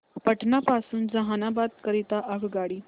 पटना पासून जहानाबाद करीता आगगाडी